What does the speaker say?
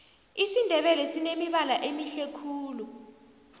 isindebele sinemibala emihle khulu